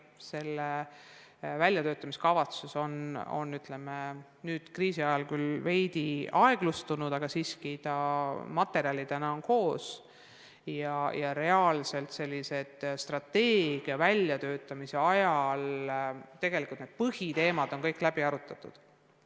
Selle väljatöötamiskavatsus on nüüd kriisi ajal küll veidi toppama jäänud, aga materjalina on see koos ja strateegia väljatöötamise ajal sai põhiteemad kõik täie teadlikkusega läbi arutatud.